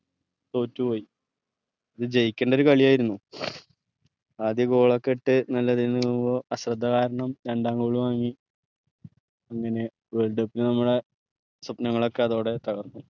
തോറ്റുപോയി ഇത് ജയിക്കണ്ട ഒരു കളിയായിരുന്നു ആദ്യ goal ഒക്കെ ഇട്ട് നല്ലെതീന്ന് പോവ്വുമ്പോ അശ്രദ്ധ കാരണം രണ്ടാം വാങ്ങി അങ്ങനെ world cup നെ നമ്മളെ സ്വപ്നങ്ങളൊക്കെ അതോടെ തകർന്നു